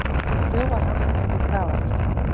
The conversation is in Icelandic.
Þjófar handteknir í Grafarholti